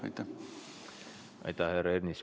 Aitäh, härra Ernits!